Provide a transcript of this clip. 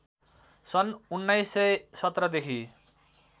सन् १९१७ देखि